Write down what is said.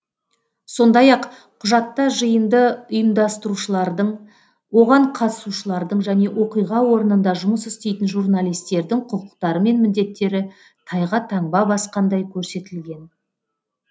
сондай ақ құжатта жиынды ұйымдастырушылардың оған қатысушылардың және оқиға орнында жұмыс істейтін журналистердің құқықтары мен міндеттері тайға таңба басқандай көрсетілген